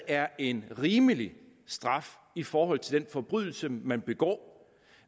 er en rimelig straf i forhold til den forbrydelse man begår